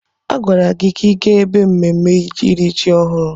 A gwara gị ka ị gaa ebe mmemme iri ji ọhụrụ!